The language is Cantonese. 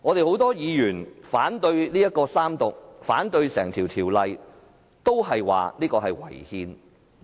很多議員反對進行三讀，反對《條例草案》，是因為《條例草案》違憲。